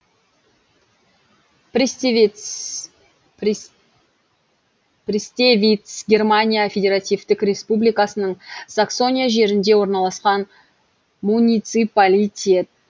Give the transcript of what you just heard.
пристевиц германия федеративтік республикасының саксония жерінде орналасқан муниципалитет